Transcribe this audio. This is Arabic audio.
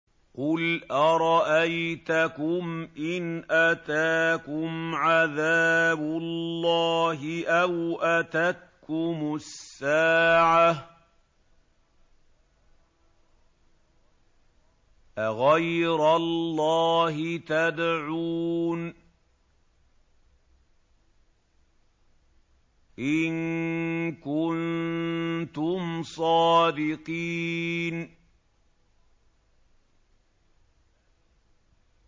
قُلْ أَرَأَيْتَكُمْ إِنْ أَتَاكُمْ عَذَابُ اللَّهِ أَوْ أَتَتْكُمُ السَّاعَةُ أَغَيْرَ اللَّهِ تَدْعُونَ إِن كُنتُمْ صَادِقِينَ